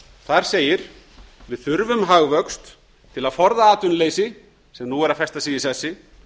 þar segir við þurfum hagvöxt til að forða atvinnuleysi sem nú er að festa sig í sessi